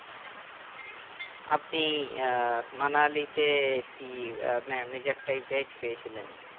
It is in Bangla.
আপনি আহ মানালিতে কি আহ মে major types veg পেয়েছিলেন